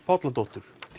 Bolladóttir